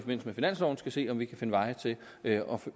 med finansloven skal se om vi kan finde veje til at